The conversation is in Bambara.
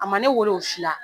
A ma ne wele o si la